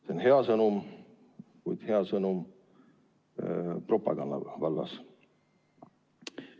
See on hea sõnum, kuid hea sõnum propaganda vallas.